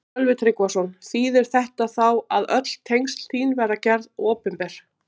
Sölvi Tryggvason: Þýðir þetta þá að öll tengsl þín verða gerð opinber?